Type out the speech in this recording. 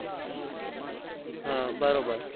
હા બરોબર